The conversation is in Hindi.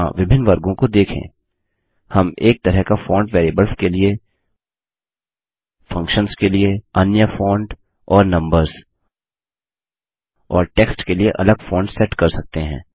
यहाँ विभिन्न वर्गों को देखें160 हम एक तरह का फोंट वेरियेबल्स के लिए फंक्शंस के लिए अन्य फोंट और नम्बर्स और टेक्स्ट के लिए अलग फोंट सेट कर सकते हैं